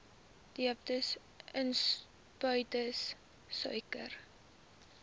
diabetes insipidus suiker